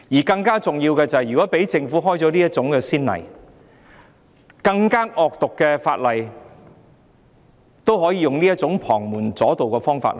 更重要的是，如果讓政府開了這種先例，更惡毒的法例也可以用這種旁門左道的方式處理。